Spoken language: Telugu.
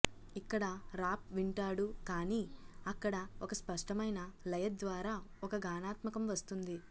ఇక్కడ రాప్ వింటాడు కానీ అక్కడ ఒక స్పష్టమైన లయ ద్వారా ఒక గానాత్మకం వస్తుంది